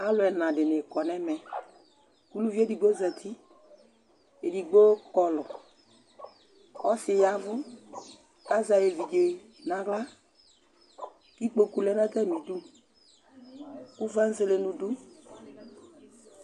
Alu ɛna dini kɔ nu ɛmɛ, ku uluvi edigbo zati, edigbo kɔlu, ɔsi yavu, ku azɛ ayu evidze nu aɣla, ku ikpoku lɛ nu ata mi du, ku fanselenu du